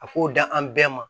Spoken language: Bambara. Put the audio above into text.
A k'o da an bɛɛ ma